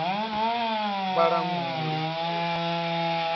vhalanguli